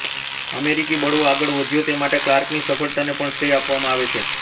અમેરિકી બળવો આગળ વધ્યો તે માટે ક્લાર્કની સફળતાને પણ શ્રેય આપવામાં આવે છે